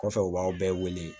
Kɔfɛ u b'aw bɛɛ wele